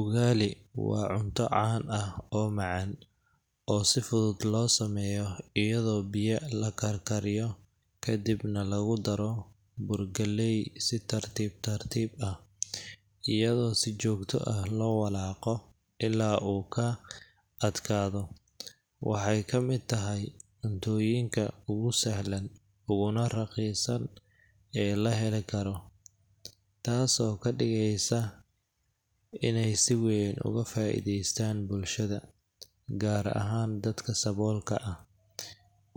Ugali waa cunto caan ah oo macaan, oo si fudud loo sameeyo iyadoo biya la karkariyo ka dibna lagu daro bur galley si tartiib tartiib ah, iyadoo si joogto ah loo walaaqo ilaa uu ka adkaado. Waxay ka mid tahay cuntooyinka ugu sahlan uguna raqiisan ee la heli karo, taasoo ka dhigeysa inay si weyn uga faa’iideystaan bulshada, gaar ahaan dadka saboolka ah.